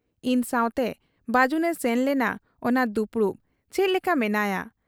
ᱤᱧ ᱥᱟᱶᱛᱮ ᱵᱟᱹᱡᱩᱱᱮ ᱥᱮᱱ ᱞᱮᱱᱟ ᱚᱱᱟ ᱫᱩᱯᱲᱩᱵ ᱾ ᱪᱮᱫ ᱞᱮᱠᱟ ᱢᱮᱱᱟᱭᱟ ?